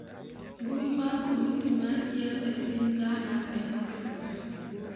Mbui mar komiti mar yiero e piny Ghana ne okethore